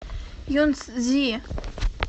юнцзи